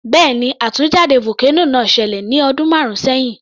Bẹ́ẹ̀ni, àtúnjáde vocano náà ṣẹlẹ̀ ní ọdún márùn sẹhin